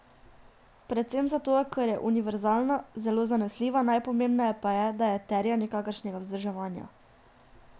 Predvsem zato, ker je univerzalna, zelo zanesljiva, najpomembneje pa je, da je terja nikakršnega vzdrževanja.